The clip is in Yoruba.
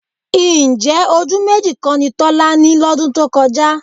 Ǹjẹ́ ojú méjì kọ́ ni Tọ́lá ní lọ́dún tó kọjá?